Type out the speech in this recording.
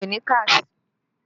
Mi ò ní káàṣì